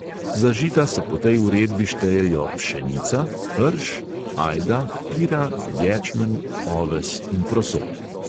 Za žita se po tej uredbi štejejo: pšenica, rž, ajda, pira, ječmen, oves in proso.